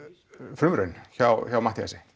frumraun hjá Matthíasi